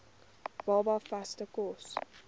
baba vaste kos